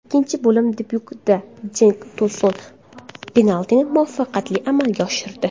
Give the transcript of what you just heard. Ikkinchi bo‘lim debyutida Jenk To‘sun penaltini muvaffaqiyatli amalga oshirdi.